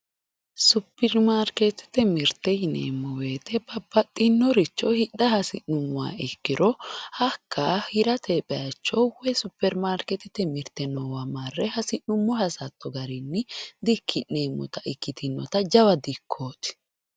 Superimaarketete mirte yineemmo woyete babbaxxinoricho hidha hasi'nuummoha ikkiro hakka hirate bayicho superimaarketete mirte noowa marre hasi'nuummo hasatto garinni dikki'neemmotta ikkitino jawa dikkoti.